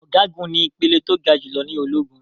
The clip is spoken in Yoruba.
Ọ̀gágun ní ìpele tó ga jù lọ ní ológun.